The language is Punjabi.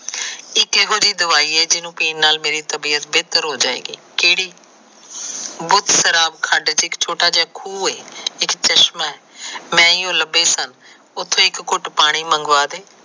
ਇਹ ਕਿਹੋ ਜੀ ਦਵਾਈ ਏ ਜਿਹਨੂੰ ਪੀਣ ਨਾਲ ਮੇਰੀ ਤਬੀਅਤ ਬੇਹਤਰ ਹੋ ਜਾਏਗੀ। ਕੇਹੜੀ ਛੋਟਾ ਜਾ ਖੂਹ ਏ ਇੱਕ ਚਸ਼ਮਾ ਏ ਮੈ ਈ ਓ ਲੱਭੇ ਸਨ। ਉਥੋ ਇੱਕ ਘੁਟ ਪਾਣੀ